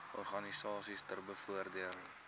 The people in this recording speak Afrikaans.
organisasies ter bevordering